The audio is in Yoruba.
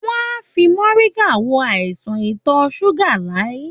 Wọ́n ń fi mọ̀ríngà wo àìsàn ìtọ̀ ṣúgà Láyí.